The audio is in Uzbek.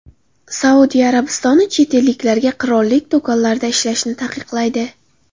Saudiya Arabistoni chet elliklarga qirollik do‘konlarida ishlashni taqiqlaydi.